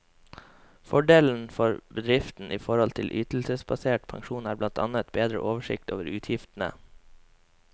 Fordelen for bedriften i forhold til ytelsesbasert pensjon er blant annet bedre oversikt over utgiftene.